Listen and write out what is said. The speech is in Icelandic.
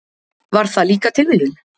Var það líka tilviljun?